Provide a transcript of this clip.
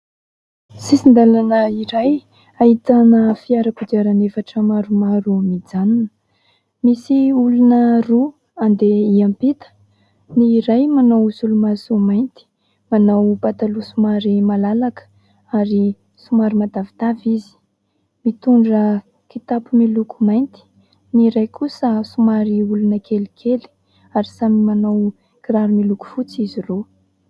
Sisin-dalana iray ahitana fiara kodiaran'efatra maromaro mijanona. Misy olona roa andeha hiampita ; ny iray manao solomaso mainty, manao pataloha somary malalaka ary somary matavitavy, mitondra kitapo miloko mainty ; ny iray kosa somary olona kelikely ary samy manao kiraro miloko fotsy izy roa.